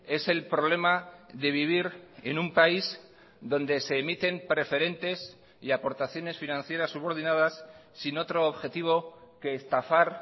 es el problema de vivir en un país donde se emiten preferentes y aportaciones financieras subordinadas sin otro objetivo que estafar